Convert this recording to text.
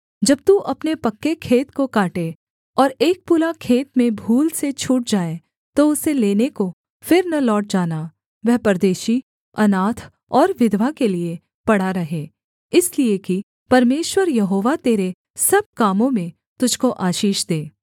जब तू अपने पक्के खेत को काटे और एक पूला खेत में भूल से छूट जाए तो उसे लेने को फिर न लौट जाना वह परदेशी अनाथ और विधवा के लिये पड़ा रहे इसलिए कि परमेश्वर यहोवा तेरे सब कामों में तुझको आशीष दे